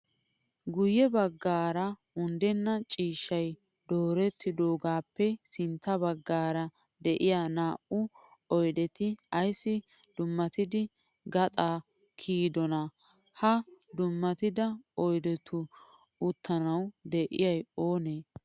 Guyye baggaara unddenna ciishshayi doorettaagappe sintta baggaara diyaa naa'u oyideti ayissi dummatidi gaxaa kiyidonaa? Ha dummatida oyidetu uttanawu diyayi oonee?